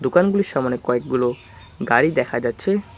দোকানগুলির সামোনে কয়েকগুলো গাড়ি দেখা যাচ্ছে।